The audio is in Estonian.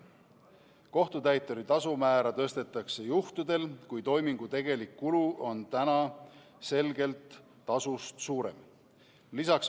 Kohtutäituri tasu määra tõstetakse juhtudel, kui toimingu tegelik kulu on täna selgelt tasust suurem.